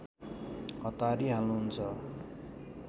हतारी हाल्नुहुन्छ